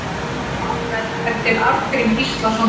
Málverk eftir Arngrím Gíslason málara